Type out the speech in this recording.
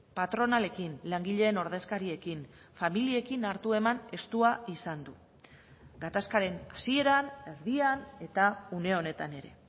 patronalekin langileen ordezkariekin familiekin hartu eman estua izan du gatazkaren hasieran erdian eta une honetan ere